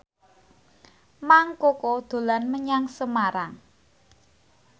Mang Koko dolan menyang Semarang